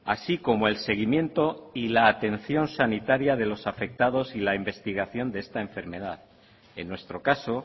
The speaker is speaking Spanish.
así como el seguimiento y la atención sanitaria de los afectados y la investigación de esta enfermedad en nuestro caso